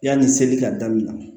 Yanni seli ka daminɛ